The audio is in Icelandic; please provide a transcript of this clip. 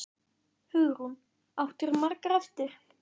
Hugrún: Áttirðu margar eftir?